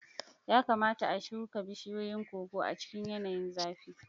Ya kamata a shuka bishiyoyin koko a cikin yanayin zafi.